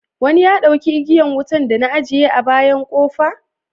Wani ya dauka igiyan wutan da na ajiye a bayan kofa?